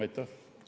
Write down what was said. Aitäh!